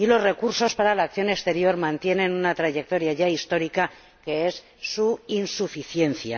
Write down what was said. Y los recursos para la acción exterior mantienen una trayectoria ya histórica, que es su insuficiencia.